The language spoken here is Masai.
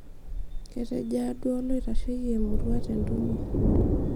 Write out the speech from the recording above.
ketejo aa duo oloitasheki emurua te entumo